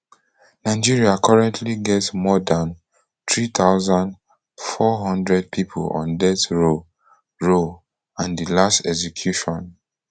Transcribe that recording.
nigeria currently get more dan three thousand, four hundred pipo on death row row and di last execution